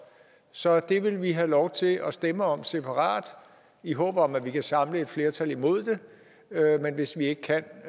så det vil vi have lov til at stemme om separat i håb om at vi kan samle et flertal imod det men hvis vi ikke kan